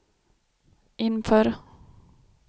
inför